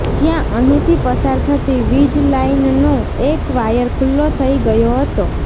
જ્યાં અહિંથી પસાર થતી વિજલાઇનનો એક વાયર ખુલ્લો થઇ ગયો હતો